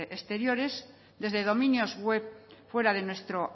exteriores desde dominios web fuera de nuestro